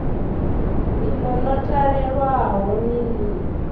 iḽo ḽo talelwaho ni ḽi